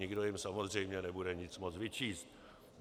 Nikdo jim samozřejmě nebude nic moct vyčíst.